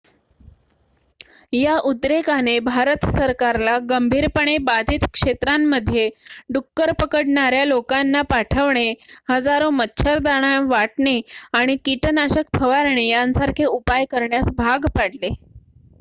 या उद्रेकाने भारत सरकारला गंभीरपणे बाधित क्षेत्रांमध्ये डुक्कर पकडणाऱ्या लोकांना पाठवणे हजारो मच्छरदाण्या वाटणे आणि कीटनाशक फवारणे यांसारखे उपाय करण्यास भाग पाडले